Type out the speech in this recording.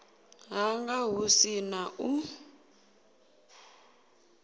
hanga hu si na u